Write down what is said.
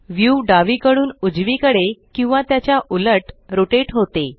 view डावीकडून उजवीकडे किंवा त्याच्या उलट रोटेट होते